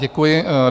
Děkuji.